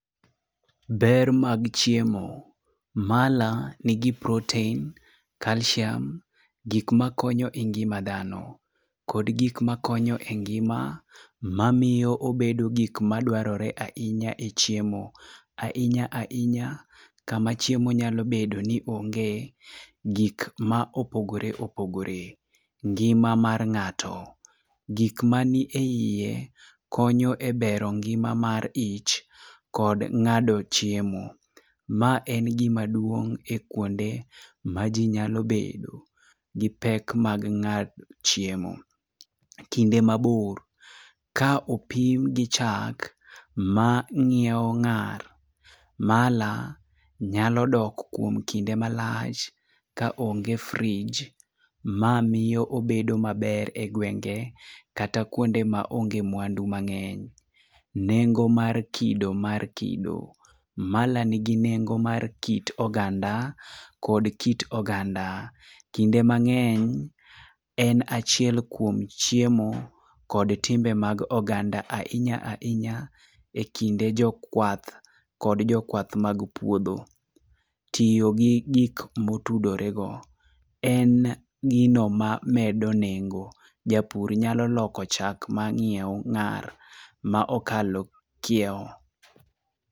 Ber mag chiemo. Mala nigi protein, calcium gik makonyo e ngima dhano kod gik makonyo e ngima mamiyo obedo gik madwarore ahinya echiemo. Ahinya ahinya kama chiemo nyalo bedo ni ongee. Gik ma opogore opogore. Ngima mar ng'ato. Gik ma ni eie konyo e bero ngima mar ich kod ng'ado chiemo. Ma en gimaduong' e kuonde maji nyalo bedo gipek mag ng'ado chiemo. Kinde mabor. Ka opim gi chak ma ng'iewo ng'ar, mala nyalo dok kuom kinde malach kaonge frij, mamiyo bedo maber egwenge kata kuonde maonge mwandu mang'eny. Nengo mar kido mar kido. Mala nigi nengo mar kit oganda kod kit oganda. Kinde mang'eny, en achiel kuom chiemo kod timbe mag oganda ahinya ahinya, ekinde jokwath kod jokwath mag puodho. Tiyo gi gik motudore go. En gino mamedo nengo. Japur nyalo loko chak mang'iew ng'ar ma okalo kiewo.